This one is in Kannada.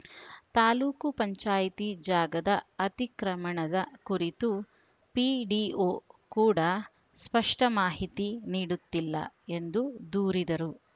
ತಾಲೂಕು ಪಂಚಾಯಿತಿ ಜಾಗದ ಅತಿಕ್ರಮಣದ ಕುರಿತು ಪಿಡಿಒ ಕೂಡ ಸ್ಪಷ್ಟಮಾಹಿತಿ ನೀಡುತ್ತಿಲ್ಲ ಎಂದು ದೂರಿದರು